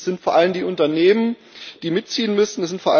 Denn es sind vor allem die Unternehmen, die mitziehen müssen.